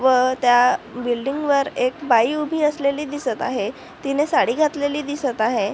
व त्या बिल्डिंग वर एक बाई उभी असलेली दिसत आहे तिने साडी घातलेली दिसत आहे.